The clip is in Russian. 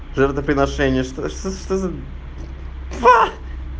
жертвоприношение что что за ха